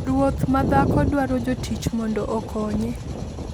Ruoth ma dhako dwaro jotich mondo okonye.